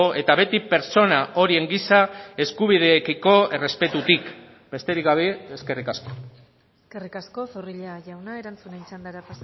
eta beti pertsona horien giza eskubideekiko errespetutik besterik gabe eskerrik asko eskerrik asko zorrilla jauna erantzunen txandara